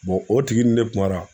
o tigi ni ne kumara.